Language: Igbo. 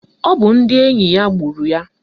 Ọ bụ ndị enyi ya gburu ya.